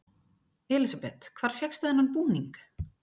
Elísabet: Hvar fékkstu þennan búning?